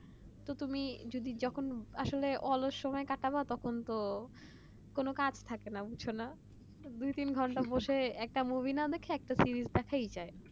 তো তুমি যখন আসলে অলস সময় কাটাবা তখন তো কোন কাজ থাকে না কিছু না দু তিন ঘন্টা বসে একা গভীর না দেখে একটা সিরিজ দেখাই যায়